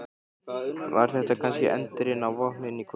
Var þetta kannski endirinn á Vopnin kvödd?